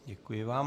Děkuji vám.